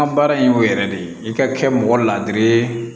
An ka baara in y'o yɛrɛ de ye i ka kɛ mɔgɔ ladiri ye